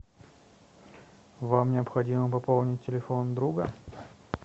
вам необходимо пополнить телефон друга